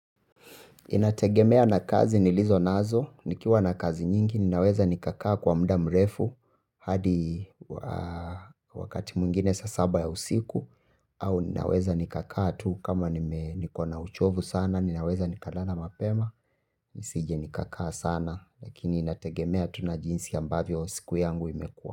Inategemea na kazi nilizo nazo nikiwa na kazi nyingi ninaweza nikakaa kwa muda mrefu hadi wakati mwingine saa saba ya usiku au ninaweza nikakaa tu kama nikona uchovu sana ninaweza nikalala mapema nisije nikakaa sana lakini inategemea tu na jinsi ambavyo usiku yangu imekua.